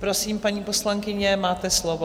Prosím, paní poslankyně, máte slovo.